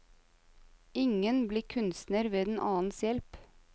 Ingen blir kunstner ved en annens hjelp.